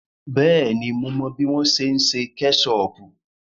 Bẹ́ẹ̀ni, mo mọ bí wọ́n ṣe ń ṣe kẹ́ṣọọ̀pù.